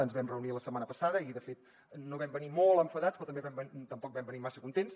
ens vam reunir la setmana passada i de fet no vam venir molt enfadats però tampoc vam venir massa contents